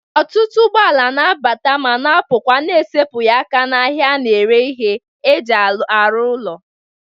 Ọtụtụ ụgbọala na-abata ma na-apụkwa n'esepụghị aka n'ahịa a na-ere ihe e ji arụ ụlọ.